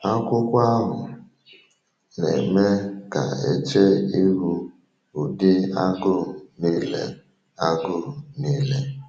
Akwụkwọ ahụ na-eme ka a chee ihu ụdị agụụ niile. agụụ niile.